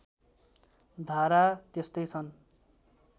धारा त्यस्तै सन्